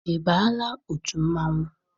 Ị baala otu mmanwụ?